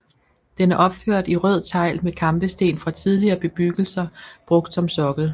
Den er opført i rød tegl med kampesten fra tidligere bebyggelser brugt som sokkel